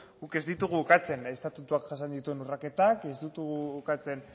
guk ez ditugu ukatzen estatutuak jasan dituen urraketak ez ditugu ukatzen